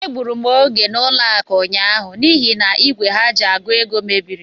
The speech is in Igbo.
Egbụrụ m oge n'ụlọakụ ụnyaahụ n'ihi n'igwe ha ji àgụ̀ ego mebiri.